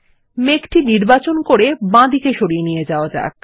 এই মেঘটি নির্বাচন করে বাঁদিকে সরিয়ে নিয়ে যাওয়া যাক